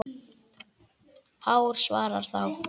Hár svarar þá